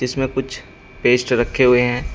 इसमें कुछ पेस्ट रखे हुए हैं।